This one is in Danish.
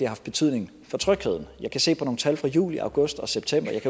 haft betydning for trygheden jeg kan se på nogle tal fra juli august og september